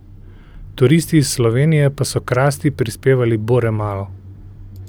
Turisti iz Slovenije pa so k rasti prispevali bore malo.